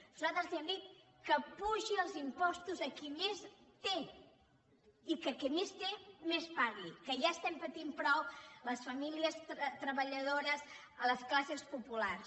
nosaltres li hem dit que apugi els impostos a qui més té i que qui més té més pagui que ja estem patint prou les famílies treballadores les classes populars